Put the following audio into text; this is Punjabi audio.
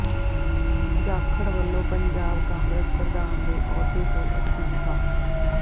ਜਾਖੜ ਵੱਲੋਂ ਪੰਜਾਬ ਕਾਂਗਰਸ ਪ੍ਰਧਾਨ ਦੇ ਅਹੁਦੇ ਤੋਂ ਅਸਤੀਫਾ